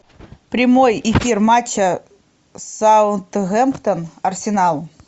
прямой эфир матча саутгемптон арсенал